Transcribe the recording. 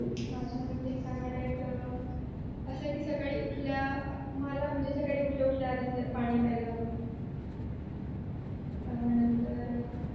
माझ्या मते चांगला डाएट अं असा कि सकाळी उठल्या मला म्हणजे सकाळी उठल्या उठल्या आधी पाणी प्यायला हवं मग नंतर